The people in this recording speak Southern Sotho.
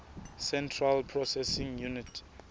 central processing unit